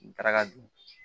N taara ka don